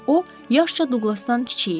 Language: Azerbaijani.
O, yaşca Duqlasdan kiçik idi.